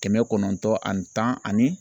Kɛmɛ kɔnɔntɔn ani tan ani